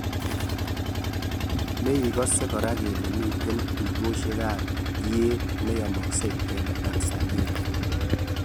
meigasee kora kole miten tugosiek ap ieet neyamakseng en Tanzania